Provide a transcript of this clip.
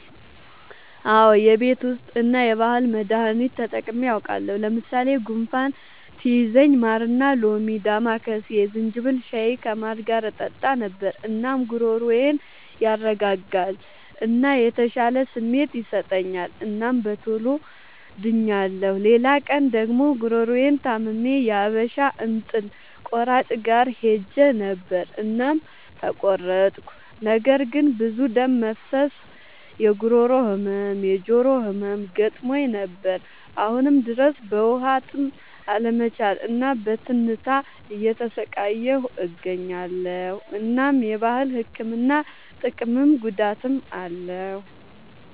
አዎ የቤት ዉስጥ እና የባህል መዳኒቶች ተጠቅሜ አዉቃለሁ። ለምሳሌ፦ ጉንፋን ሲይዘኝ ማርና ሎሚ፣ ዳማከሴ፣ የዝንጅብል ሻይ ከማር ጋር እጠጣ ነበር። እናም ጉሮሮዬን ያረጋጋል እና የተሻለ ስሜት ይሰጠኛል እናም በቶሎ ድኛለሁ። ሌላ ቀን ደግሞ ጉሮሮየን ታምሜ የሀበሻ እንጥል ቆራጭ ጋር ሄጀ ነበር እናም ተቆረጥኩ። ነገር ግን ብዙ ደም መፍሰስ፣ የጉሮሮ ህመም፣ የጆሮ ህመም ገጥሞኝ ነበር። አሁንም ድረስ በዉሀጥም አለመቻል እና በትንታ እየተሰቃየሁ እገኛለሁ። እናም የባህል ህክምና ጥቅምም ጉዳትም አለዉ።